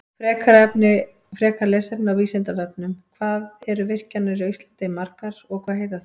Frekara lesefni á Vísindavefnum: Hvað eru virkjanir á Íslandi margar og hvað heita þær?